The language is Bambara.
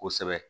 Kosɛbɛ